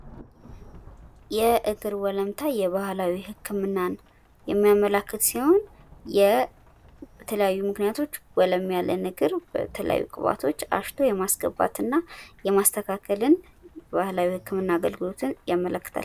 የእግር ወለምታ የባህላዊ ህክምናን የሚያመላክት ሲሆን በተለያዩ ምክንያቶች ወለም ያለን እግር በተለያዩ ግብአቶች አሽቶ የማስገባት እና የማስተካከልን ባህላዊ የህክምና አገልግሎትን ያመለክታል።